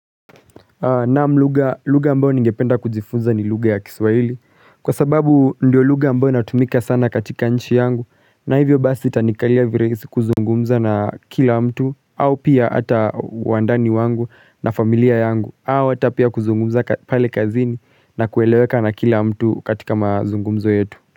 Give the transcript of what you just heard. Naam lugha, lugha ambayo ningependa kujifunza ni lugha ya kiswahili, kwa sababu ndio lugha ambayo inatumika sana katika nchi yangu, na hivyo basi itanikalia virahisi kuzungumza na kila mtu, au pia hata wandani wangu na familia yangu, au hata pia kuzungumza pale kazini na kueleweka na kila mtu katika mazungumzo yetu.